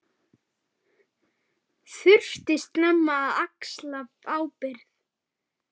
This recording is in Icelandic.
Þurfti snemma að axla ábyrgð.